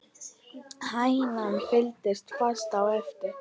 Hænan fylgdi fast á eftir.